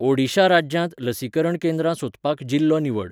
ओडिशा राज्यांत लसीकरण केंद्रां सोदपाक जिल्लो निवड